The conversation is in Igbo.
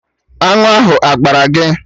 Aṅụ ahụ agbaa gị?